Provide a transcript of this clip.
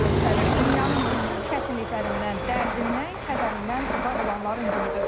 Dünyanın bütün çətinliklərindən, dərdindən, kədərindən uzaq olanların günüdür.